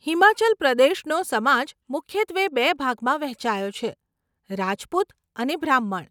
હિમાચલ પ્રદેશનો સમાજ મુખ્યત્વે બે ભાગમાં વહેંચાયો છે, રાજપૂત અને બ્રાહ્મણ.